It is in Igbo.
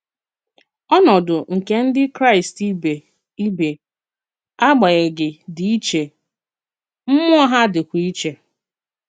Ọnọdụ nke Ndị Kraịst ibe, ibe, agbanyeghị, dị iche, mmụọ ha dịkwa iche.